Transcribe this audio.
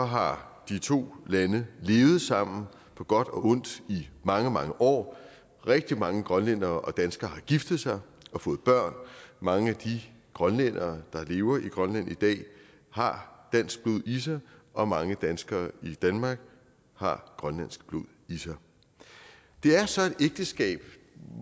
har de to lande levet sammen på godt og ondt i mange mange år rigtig mange grønlændere og danskere har giftet sig og fået børn mange af de grønlændere der lever i grønland i dag har dansk blod i sig og mange danskere i danmark har grønlandsk blod i sig det er så et ægteskab